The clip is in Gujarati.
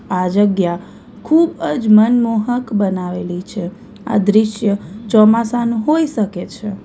આ જગ્યા ખૂબજ મનમોહક બનાવેલી છે આ દૃશ્ય ચોમાસાનું હોઈ શકે છે.